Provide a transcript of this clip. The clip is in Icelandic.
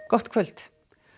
gott kvöld